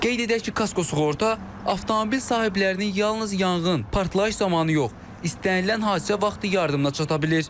Qeyd edək ki, kasko sığorta avtomobil sahiblərini yalnız yanğın, partlayış zamanı yox, istənilən hadisə vaxtı yardımına çata bilir.